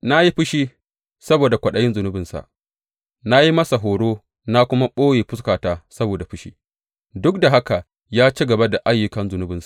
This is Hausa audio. Na yi fushi saboda kwaɗayin zunubinsa; na yi masa horo, na kuma ɓoye fuskata saboda fushi, duk da haka ya ci gaba da ayyukan zunubinsa.